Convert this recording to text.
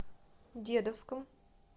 дедовском